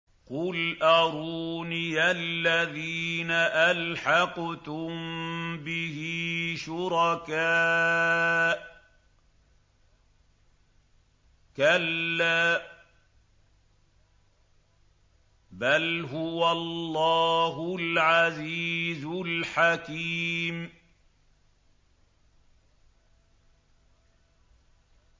قُلْ أَرُونِيَ الَّذِينَ أَلْحَقْتُم بِهِ شُرَكَاءَ ۖ كَلَّا ۚ بَلْ هُوَ اللَّهُ الْعَزِيزُ الْحَكِيمُ